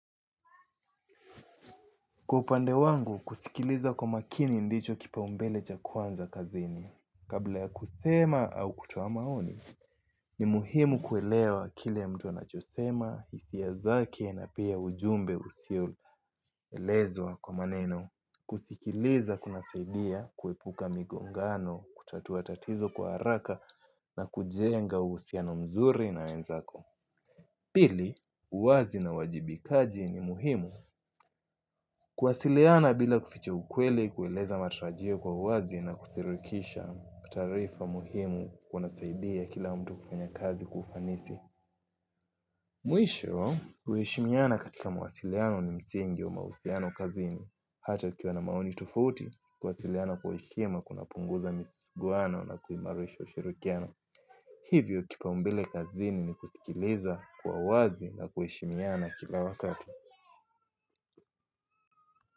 Kwa upande wangu, kusikiliza kwa makini ndicho kipaumbele cha kwanza kazini. Kabla ya kusema au kutoa maoni, ni muhimu kuelewa kile mtu anachosema, hisia zake na pia ujumbe usioelezwa kwa maneno. Kusikiliza kuna saidia, kuepuka migongano, kutatua tatizo kwa haraka na kujenga uhusiano mzuri na wenzako. Pili, uwazi na uwajibikaji ni muhimu kuwasiliana bila kuficha ukweli kueleza matarajio kwa uwazi na kusirikisha taarifa muhimu kunasaidia kila mtu kufanya kazi kwa ufanisi. Mwisho, uheshimiana katika mawasiliano ni msingi wa mausiliano kazini. Hata ukiwa na maoni tofauti, kuwasiliana kwa heshima kunapunguza misiguano na kuimarisha ushirikiano. Hivyo kipaumbele kazini ni kusikiliza kwa uwazi na kuheshimiana kila wakati.